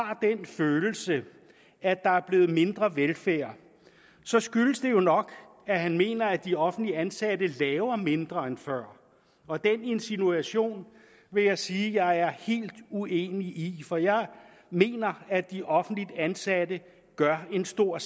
har den følelse at der er blevet mindre velfærd så skyldes det jo nok at han mener at de offentligt ansatte laver mindre end før og den insinuation vil jeg sige jeg er helt uenig i for jeg mener at de offentligt ansatte gør en stor